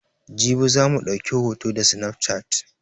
Jibi za mu ɗauki hota da sinafcat